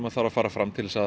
þarf að fara fram til að